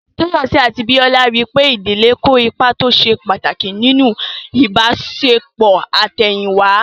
Tóyọ̀sí àti Bíọ́lá rí pé ìdílé kó ipa tó ṣe pàtàkì nínú ìbáṣepọ̀ àtẹ̀yìn wá